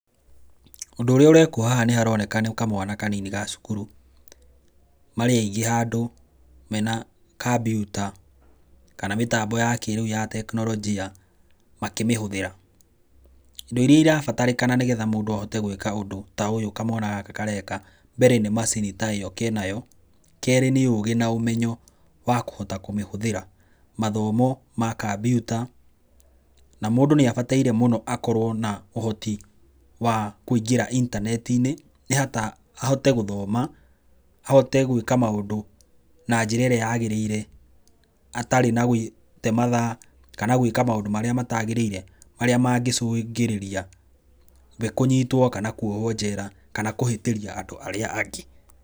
Ũndũ ũrĩa ũrekwo haha nĩharoneka nĩ kamwana kanini ga cukuru, marĩ aingĩ handũ mena kambiũta, kana mĩtambo ya kĩrĩu ya tekinoronjia, makĩmĩhũthĩra indo iria irabatarĩkana nigetha mũndũ ahote gũĩka ũndũ ta ũyũ kamwana gaka kareka mbere nĩ macini ta ĩyo ke nayo, kerĩ nĩ ũgi na ũmenyo wa kũhota kũmĩhũthĩra, mathomo ma kambiuta, na mũndũ nĩ abataire mũno akorwo na ũhoti wa kũingĩra intaneti-inĩ ahote gũthoma, ahote gũĩka maũndũ na njĩra ĩrĩa yagĩrĩire, atarĩ na gũte mathaa kana gũĩka maũndũ marĩa matagĩrĩire marĩa mangĩcungĩrĩria we kũnyitwo kana kuohwo njera, kana kũhĩtĩria andũ arĩa angĩ.